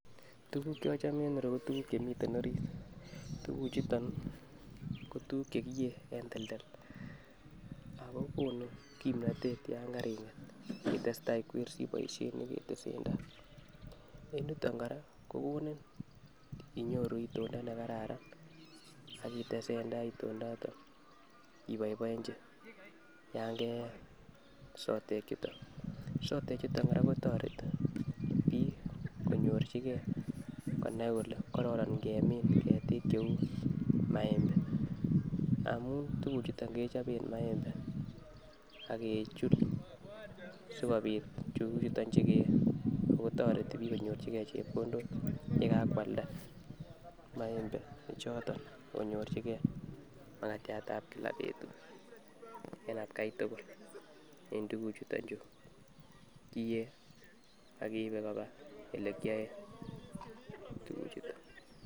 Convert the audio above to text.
Tukuk che ochome en ireyuu ko tukuk chemiten orit, tukul chuton ko tukuk che kiyee en teltel ako konu kipnotet yon karinget itestai ikwersii boishet neketesen tai. En yuton koraa kokonut itoldo nekararan ak itesentai itondoton iboiboenchi yon keyee sotek chuton, sotek chuton koraa kotoreti bik konyorchigee konai kole kororon ingemin ketik cheu maembe ngamun tukuk chuton kechoben maembe ak kechul sikobit tukuk chuton chukeyee ako toreti bik konyorchigee chepkondok yekakwalda maembe ichoton ak konyorchigee makatyat ab kila betut en atgai tukul en tukuk chuton chuu kiyee ak keibe koba ole kiyoen tukuk chuton.